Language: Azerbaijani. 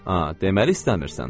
A, deməli istəmirsən?